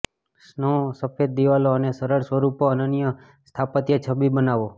snow સફેદ દિવાલો અને સરળ સ્વરૂપો અનન્ય સ્થાપત્ય છબી બનાવો